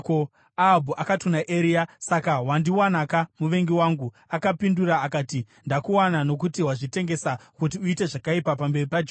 Ahabhu akati kuna Eria, “Saka wandiwanaka, muvengi wangu!” Akapindura akati, “Ndakuwana nokuti wazvitengesa kuti uite zvakaipa pamberi paJehovha.